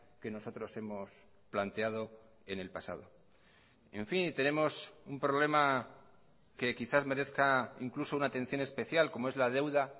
que nosotros hemos planteado en el pasado en fin tenemos un problema que quizás merezca incluso una atención especial como es la deuda